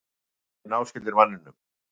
Simpansar eru náskyldir manninum.